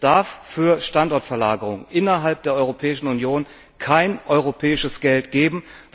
Es darf für Standortverlagerungen innerhalb der Europäischen Union kein europäisches Geld geben.